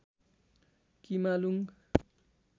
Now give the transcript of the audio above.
किमालुङ